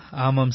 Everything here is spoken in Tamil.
ஆமாம் சார்